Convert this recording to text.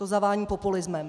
To zavání populismem.